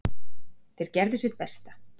Þeir gerðu sitt besta